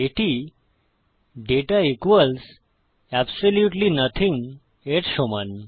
এটি দাতা equals absolutely nothing এর সমান